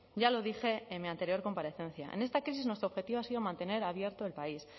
ya lo dije en mi anterior comparecencia en esta crisis nuestro objetivo ha sido mantener abierto el país